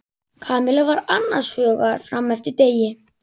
Kamilla var annars hugar fram eftir degi.